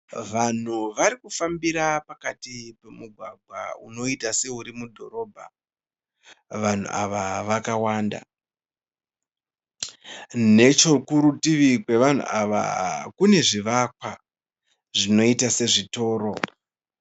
Vanhu varikufambira pakati pemugwagwa unoita seuri mudhorobha. Vanhu ava vakawanda. Nechekurutivi rwevanhu ava kune zvivakwa zvinoita sezvitoro.